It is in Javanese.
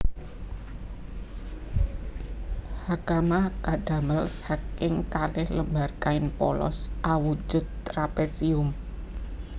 Hakama kadamel saking kalih lembar kain polos awujud trapesium